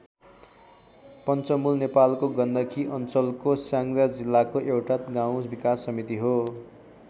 पञ्चमुल नेपालको गण्डकी अञ्चलको स्याङ्जा जिल्लाको एउटा गाउँ विकास समिति हो।